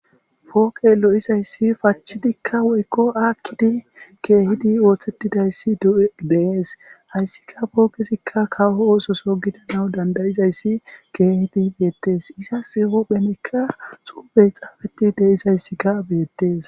Pooqe lo'izayssi pachidikka woykko aakkidi keehidi ooththetidayssi ddees hayssika pookesikka kawo oososo gidana dandayizayssi keehidi beettes iza sihu phenekka xuubey xaafeti deizayssikka beettes.